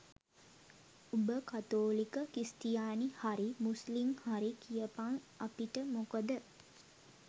උඹ කතෝලික ක්‍රිස්තියානි හරි මුස්ලිම් හරි කියපන් අපිට මොකද?